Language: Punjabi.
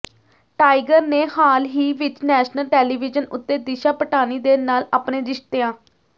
ਟਾਈਗਰ ਨੇ ਹਾਲ ਹੀ ਵਿੱਚ ਨੈਸ਼ਨਲ ਟੈਲੀਵਿਜ਼ਨ ਉੱਤੇ ਦਿਸ਼ਾ ਪਟਾਨੀ ਦੇ ਨਾਲ ਆਪਣੇ ਰਿਸ਼ਤੀਆਂ